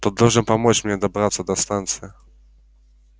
ты должен помочь мне добраться до станции